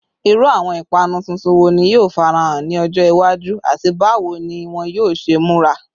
Iru awọn ipanu tuntun wo ni yoo farahan ni ọjọ iwaju, ati bawo ni wọn yoo ṣe mura?